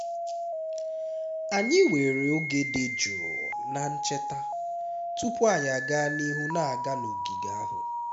anyị were oge dị jụụ na ncheta tupu anyị aga n'ihu na-aga n'ogige ahụ